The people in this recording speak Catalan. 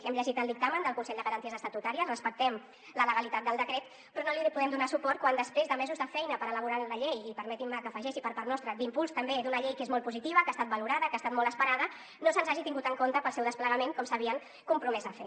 hem llegit el dictamen del consell de garanties estatutàries respectem la legalitat del decret però no li podem donar suport quan després de mesos de feina per elaborar la llei i permetin me que hi afegeixi per part nostra d’impuls també d’una llei que és molt positiva que ha estat valorada que ha estat molt esperada no se’ns hagi tingut en compte per al seu desplegament com s’havien compromès a fer